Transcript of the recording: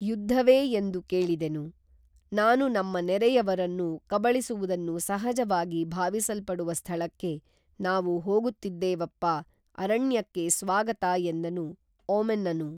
ಯುದ್ಧವೇ ಎಂದು ಕೇಳಿದೆನು, ನಾನು ನಮ್ಮ ನೆರೆಯವರನ್ನು, ಕಬಳಿಸುವುದನ್ನು ಸಹಜವಾಗಿ ಭಾವಿಸಲ್ಪಡುವ ಸ್ಥಳಕ್ಕೆ ನಾವು ಹೋಗುತ್ತಿದ್ದೇವೇಪ್ಪಾ ಅರಣ್ಯಕ್ಕೆ ಸ್ವಾಗತ ಎಂದನು ಓಮೆನ್‌ನನು